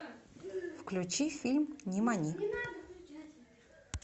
включи фильм нимани